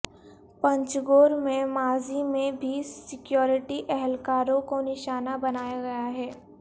پنجگور میں ماضی میں بھی سکیورٹی اہلکاروں کو نشانہ بنایا گیا ہے